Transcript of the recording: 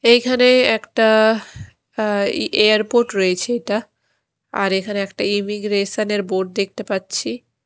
এইখানে একটা আঃ ই এ-এয়ারপোর্ট রয়েছে এটা আর এইখানে ইমিগ্রেশন -এর বোর্ড দেখতে পাচ্ছি।